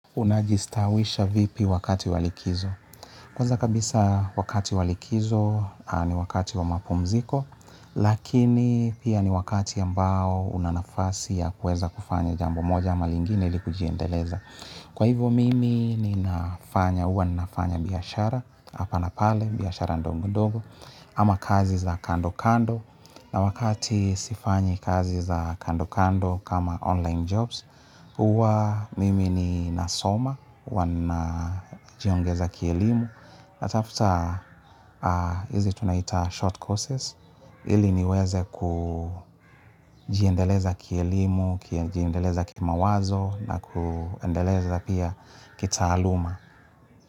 Unajistawisha vipi wakati wa likizo? Kwaza kabisa wakati wa likizo ni wakati wa mapumziko, lakini pia ni wakati ambao una nafasi ya kueza kufanya jambo moja ama lingine ilikujiendeleza. Kwa hivyo mimi ninafanya, huwa ninafanya biashara, hapa na pale, biashara ndogo-ndogo, ama kazi za kando-kando, na wakati sifanyi kazi za kando-kando kama online jobs, huwa mimi ninasoma, huwa najiongeza kielimu. Natafuta hizi tunaita short courses. Hili niweze kujiendeleza kielimu, kiendeleza kimawazo na kuendeleza pia kitaaluma.